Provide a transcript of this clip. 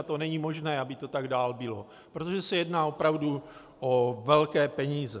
A to není možné, aby to tak dál bylo, protože se jedná opravdu o velké peníze.